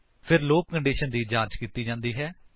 ਫਿਰ loop condition ਦੀ ਜਾਂਚ ਕੀਤੀ ਜਾਂਦੀ ਹੈ